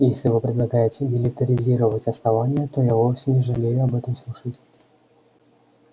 если вы предлагаете милитаризировать основание то я вовсе не жалею об этом слушать